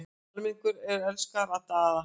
Almenningur er elskur að Daða.